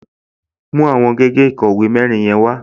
Mú àwọn gègé ìkọ̀wé mẹ́rin yẹn wá!